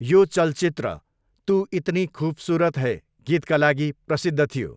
यो चलचित्र 'तु इतनी खूबसूरत है' गीतका लागि प्रसिद्ध थियो।